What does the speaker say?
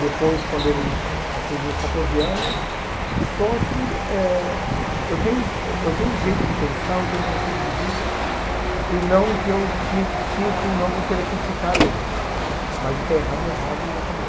depois quando ele atingiu os quatorze anos, só que eh eu tenho eu tenho um jeito de pensar, eu tenho um conceito de vida e não que eu critico, não que eu queira criticar ele, mas o que é errado é errado e acabou.